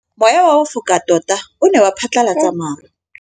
Mowa o wa go foka tota o ne wa phatlalatsa maru.